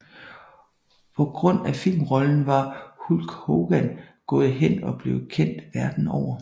På grund af filmrollen var Hulk Hogan gået hen og blevet kendt verden over